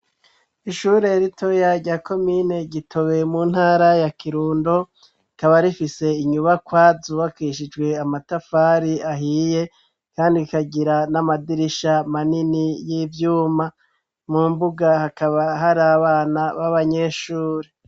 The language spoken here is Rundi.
Ishuri ritoya rya komine gitobe, mu ntara ya kirundo, kaba rifise inyubakwazubakishijwe amatafari ahiye ,kandi ikagira n'amadirisha manini y'ivyuma, mu mbuga hakaba hari abana b'abanyeshuri.